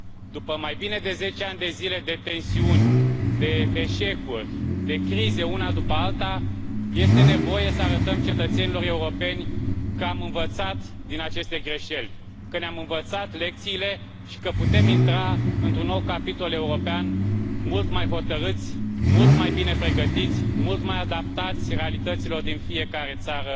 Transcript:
După mai bine de zece ani de zile de tensiuni, de eșecuri, de crize una după alta, este nevoie să arătăm cetățenilor europeni că am învățat din aceste greșeli, că ne am învățat lecțiile și că putem intra într un nou capitol european mult mai hotărâți, mult mai bine pregătiți, mult mai adaptați realităților din fiecare țară